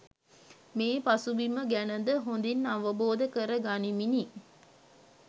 මේ පසුබිම ගැන ද හොඳින් අවබෝධ කර ගනිමිනි